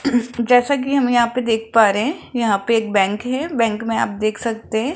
जैसा कि हम यहां पे देख पा रहे हैं यहां पे एक बैंक है बैंक में आप देख सकते हैं।